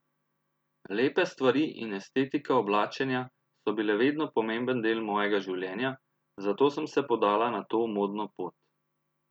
Lepe stvari in estetika oblačenja so bile vedno pomemben del mojega življenja, zato sem se podala na to modno pot.